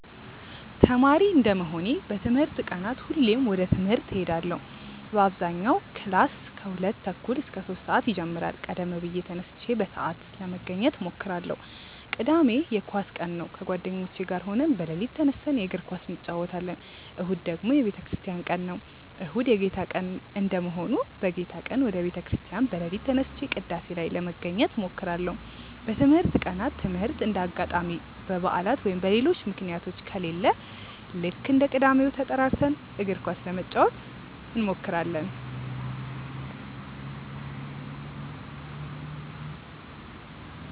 ተማሪ እንደመሆኔ በትምህርት ቀናት ሁሌም ወደ ትምህርት እሄዳለው በአብዛኛው ክላስ ከሁለት ተኩል እስከ ሶስት ሰአት ይጀምራል ቀደም ብዬ ተነስቼ በሰአት ለመገኘት እሞክራለው። ቅዳሜ የኳስ ቀን ነው ከጓደኞቼ ጋር ሆነን በሌሊት ተነስተን የእግር ኳስ እንጨወታለን። እሁድ ደግሞ የቤተክርስቲያን ቀን ነው። እሁድ የጌታ ቀን እንደመሆኑ በጌታ ቀን ወደ ቤተ ክርስቲያን በሌሊት ተነስቼ ቅዳሴ ላይ ለመገኘት እሞክራለው። በትምህርት ቀናት ትምህርት እንደ አጋጣሚ በባዕላት ወይም በሌሎች ምክንያቶች ከሌለ ልክ እንደ ቅዳሜው ተጠራርተን እግር ኳስ ለመጫወት እንሞክራለው።